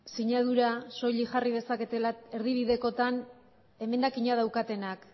sinadura soilik jarri dezakete erdibidekotan emendakina daukatenak